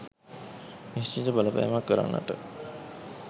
නිශ්චිත බලපෑමක් කරන්නට